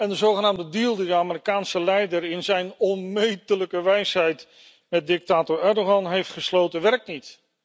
De zogenaamde deal die de Amerikaanse leider in zijn onmetelijke wijsheid met dictator Erdoğan heeft gesloten, werkt niet.